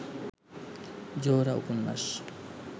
জোহরা উপন্যাস